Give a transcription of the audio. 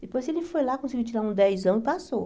Depois ele foi lá, conseguiu tirar um dezão e passou.